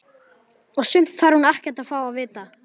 Og sumt þarf hún ekkert að fá að vita.